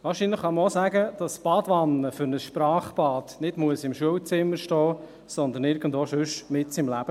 Wahrscheinlich kann man auch sagen, dass die Badewanne für ein Sprachbad nicht im Schulzimmer stehen muss, sondern sonst irgendwo, mitten im Leben.